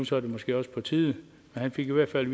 så er det måske også på tide han fik i hvert fald at